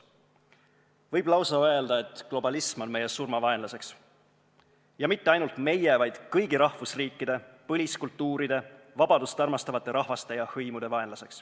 Võib lausa öelda, et globalism on meie surmavaenlane – ja mitte ainult meie, vaid kõigi rahvusriikide põliskultuuride, vabadust armastavate rahvaste ja hõimude vaenlane.